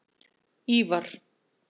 Ívar